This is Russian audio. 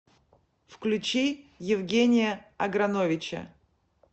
включи евгения аграновича